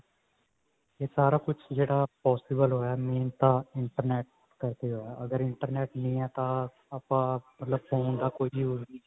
ਇਹ ਸਾਰਾ ਕੁਛ ਜਿਹੜਾ possible ਹੋਇਆ main ਤਾਂ internet ਕਰਕੇ ਹੋਇਆ ਅਗਰ internet ਨਹੀ ਹੈ ਤਾਂ ਆਪਾਂ ਮਤਲਬ phone ਦਾ ਕੋਈ use ਨੀ ਹੈ